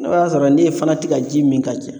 N'o y'a sɔrɔ n'e fana tɛ ka ji min ka ca